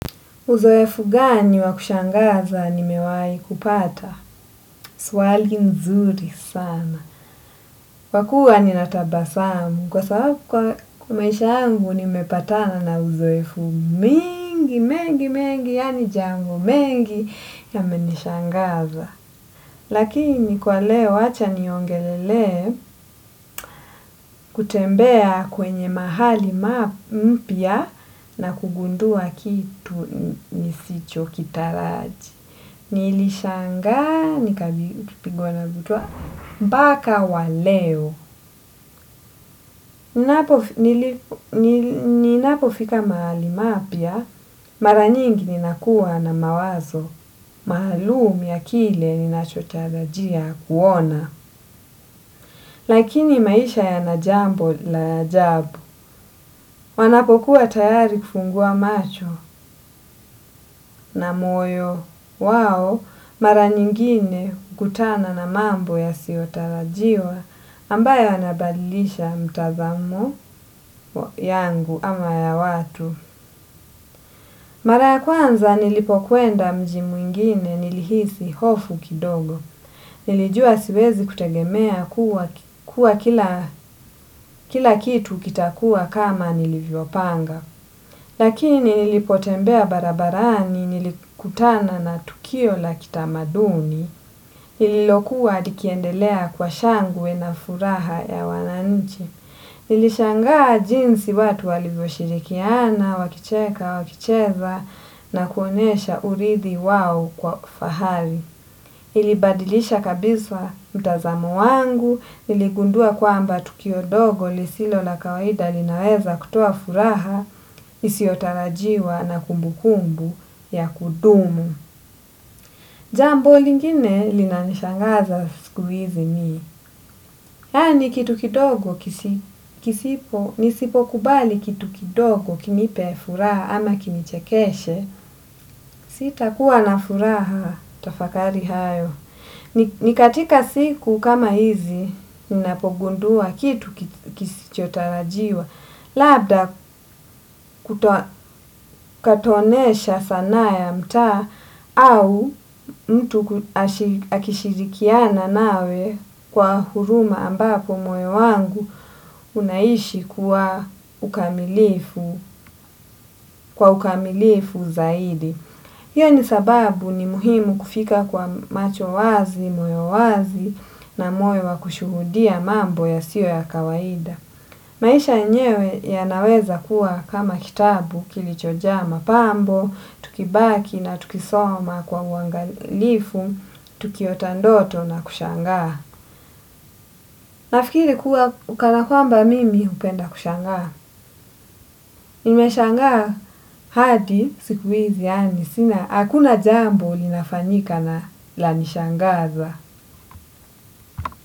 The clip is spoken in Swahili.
Uzoefu gani wakushangaza ni mewai kupata? Swali nzuri sana. Kwakua ninatabasamu kwa sababu kwa maisha yangu ni mepatana na uzoefu mingi, mengi, mengi, yaani jango mengi ya menishangaza. Lakini kwa leo wacha ni ongelele kutembea kwenye mahali mpya na kugundua kitu nisicho kitaraji. Nili shanga, nikapigwa na butwaa, mpaka waleo, ninapo fika mahali mapya, mara nyingi ninakuwa na mawazo, mahalum ya kile ninachotarajia kuona. Lakini maisha yana jambo la ajabu. Wanapokuwa tayari kufungua macho na moyo wao mara nyingine hukutana na mambo yasiotarajiwa ambayo yanabadilisha mtazamo yangu ama ya watu. Mara ya kwanza nilipo kwenda mji mwingine nilihisi hofu kidogo. Nilijua siwezi kutegemea kuwa kila kitu kitakua kama nilivyo panga. Lakini nilipo tembea barabarani nilikutana na tukio la kitamaduni. Lililokuwa likiendelea kwa shangwe na furaha ya wananichi. Nilishangaa jinsi watu walivyoshirikiana, wakicheka, wakicheza na kuonesha uridhi wao kwa fahari. Ilibadilisha kabisa mtazamo wangu, niligundua kwamba tukio dogo lisilo la kawaida linaweza kutoa furaha, isiotarajiwa na kumbukumbu ya kudumu. Jambo lingine lina nishangaza siku hizi ni. Yani kitu kidogo kisipo, nisipo kubali kitu kidogo kinipe furaha ama kini chekeshe, sita kuwa na furaha tafakari hayo. Nikatika siku kama hizi ninapogundua kitu kisichotarajiwa labda katonesha sanaa ya mtaa au mtu akishirikiana nawe kwa huruma ambako moyo wangu unaishi kwa ukamilifu zaidi. Hiyo ni sababu ni muhimu kufika kwa macho wazi, moyo wazi na moyo wa kushuhudia mambo ya siyo ya kawaida. Maisha yenyewe yanaweza kuwa kama kitabu kilichojaa mapambo, tukibaki na tukisoma kwa uangalifu, tukiota ndoto na kushangaa. Nafikiri kuwa ukana kwamba mimi hupenda kushangaa. Nime shangaa hadi siku hizi yaani sina hakuna jambo linafanyika na lanishangaza.